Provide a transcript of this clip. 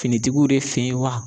Finitigiw de fe ye wa